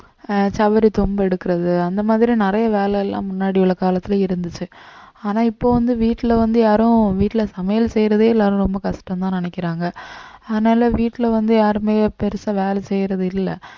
அஹ் சவரி தும்பு எடுக்கிறது அந்த மாதிரி நிறைய வேலை எல்லாம் முன்னாடி உள்ள காலத்துல இருந்துச்சு ஆனா இப்ப வந்து வீட்டுல வந்து யாரும் வீட்டுல சமையல் செய்யறதே எல்லாரும் ரொம்ப கஷ்டம்னுதான் நினைக்கிறாங்க அதனால வீட்டுல வந்து யாருமே பெருசா வேலை செய்யறது இல்ல